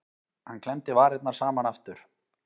Hann klemmdi varirnar saman aftur.